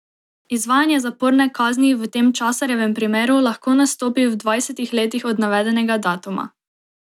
Izvajanje zaporne kazni v tem Časarjevem primeru lahko nastopi v dvajsetih letih od navedenega datuma.